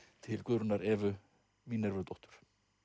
til Guðrúnar Evu Mínervudóttur